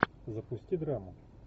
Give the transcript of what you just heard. запусти драму